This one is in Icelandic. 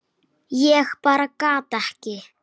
Ég bara gat ekki.